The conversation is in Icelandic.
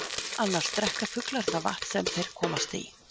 Annars drekka fuglar það vatn sem þeir komast í.